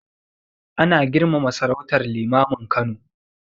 Ana girmama sarautar Limamin Kano